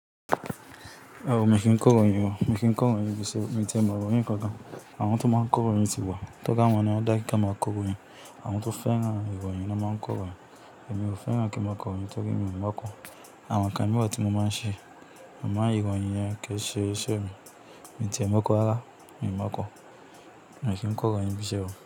Rárá o, mi o kìí n k'ọ́rọ̀yìn o. Mi kìí n kọ́rọ̀nyìn nibí iṣe mii ti e m'ọ̀royin ko gan. Àwọn tó máa ń kọ́rọ̀yìn ti wà, tó r'awọn ni wọ́n dá kí won máa k'ọ́rọ̀yìn. Àwọn tó fẹ́ràn iròyìn ni wọ́n máa ń kọ́rọ̀yìn, èmi ò fẹ́ràn kí n máa k'ọ̀royìn torí mi ò mọ̀ọ́ ko Àwọn nǹkan mìí wa tí mo máa ń ṣe. Amo ìròyìn yẹn kì í ṣe iṣẹ́ mi. Mii ti ẹ mọ̀o kó rárá, mii mọ̀o ko. Mii kìí n kọ́rọ̀yìn nibiṣe o.